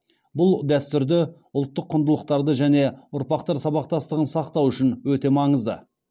бұл дәстүрді ұлттық құндылықтарды және ұрпақтар сабақтастығын сақтау үшін өте маңызды